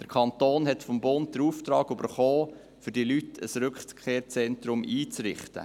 Der Kanton hat vom Bund den Auftrag erhalten, für diese Personen ein Rückkehrzentrum einzurichten.